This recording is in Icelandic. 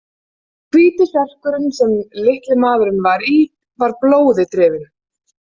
Hvíti serkurinn sem litli maðurinn var í var blóði drifinn.